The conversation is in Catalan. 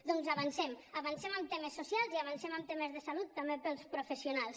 doncs avancem avancem en temes socials i avancem en temes de salut també per als professionals